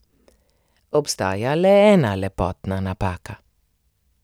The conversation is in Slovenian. Obstaja le ena lepotna napaka.